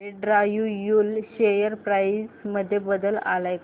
Andrew Yule share price मध्ये बदल आलाय का